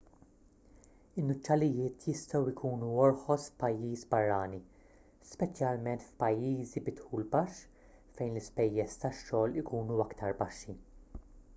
in-nuċċalijiet jistgħu jkunu orħos f'pajjiż barrani speċjalment f'pajjiżi bi dħul baxx fejn l-ispejjeż tax-xogħol ikunu aktar baxxi